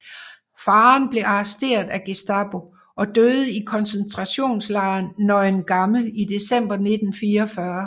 Faderen blev arresteret af Gestapo og døde i koncentrationslejren Neuengamme i december 1944